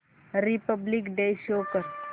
Republic Day show कर